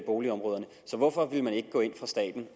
boligområderne så hvorfor vil man ikke gå ind fra statens